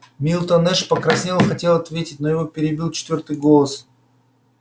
милтон эш покраснел и хотел ответить но его перебил четвёртый голос